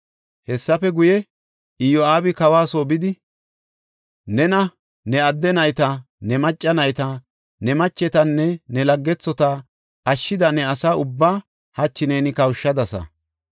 Hessafe guye, Iyo7aabi kawa soo bidi, “Nena, ne adde nayta, ne macca nayta, ne machetanne ne laggethota ashshida ne asa ubbaa hachi neeni kawushadasa.